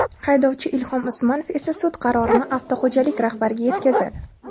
Haydovchi Ilhom Usmonov esa sud qarorini avtoxo‘jalik rahbariga yetkazadi.